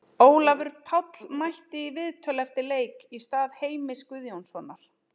Ólafur Páll mætti í viðtöl eftir leik í stað Heimis Guðjónssonar.